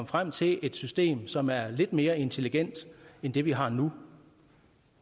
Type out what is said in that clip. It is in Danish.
frem til et system som er lidt mere intelligent end det vi har nu